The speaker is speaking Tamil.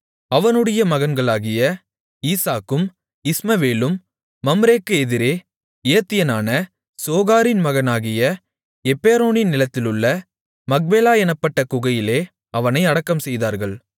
அவனுடைய மகன்களாகிய ஈசாக்கும் இஸ்மவேலும் மம்ரேக்கு எதிரே ஏத்தியனான சோகாரின் மகனாகிய எப்பெரோனின் நிலத்திலுள்ள மக்பேலா எனப்பட்ட குகையிலே அவனை அடக்கம்செய்தார்கள்